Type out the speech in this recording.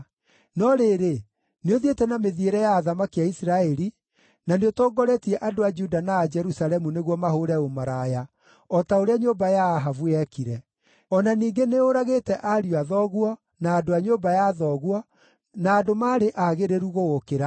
No rĩrĩ, nĩũthiĩte na mĩthiĩre ya athamaki a Isiraeli, na nĩũtongoretie andũ a Juda na a Jerusalemu nĩguo mahũũre ũmaraya, o ta ũrĩa nyũmba ya Ahabu yekire. O na ningĩ nĩũũragĩte ariũ a thoguo, na andũ a nyũmba ya thoguo, na andũ maarĩ aagĩrĩru gũgũkĩra.